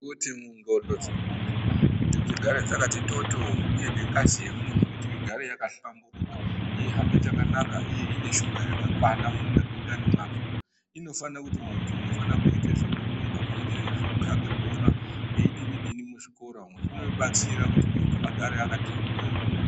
Kuti mu ndxondo dze muntu kuti dzigare dzakati toto uye nengazi ye munhu kuti igare yaka hlamburuka yei hambe chakanaka uye ine shuga yakakwana mundani mwake inofana kuti muntu unofana kuite zvekurumba pamwe chete nezveku kabe bhora eyi dini dini mu zvikora umo zvino batsira kuti muntu agare akati bhoryo.